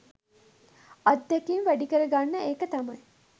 අත්දැකීම් වැඩි කරගන්න එක තමයි